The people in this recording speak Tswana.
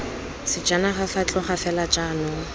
sejanaga fa tloga fela jaanong